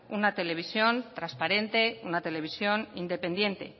una televisión transparente una televisión independiente